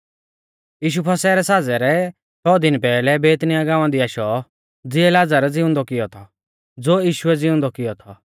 यीशु फसह रै साज़ै रै छ़ौ दिन पैहलै बैतनिय्याह गांवा दी आशौ ज़िऐ लाज़र ज़िउंदौ कियौ थौ ज़ो यीशुऐ ज़िउंदौ कियौ थौ